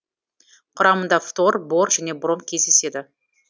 құрамында фтор бор және бром кездеседі